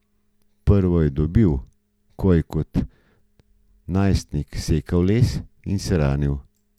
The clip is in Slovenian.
Prvo je dobil, ko je kot najstnik sekal les in se ranil.